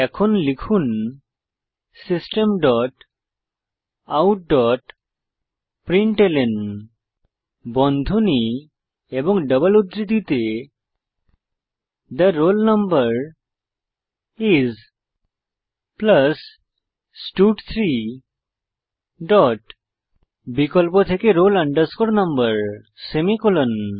এখন লিখুন system dot out dot println বন্ধনী এবং ডবল উদ্ধৃতিতে থে রোল নাম্বার আইএস স্টাড3 ডট বিকল্প থেকে roll no সেমিকোলন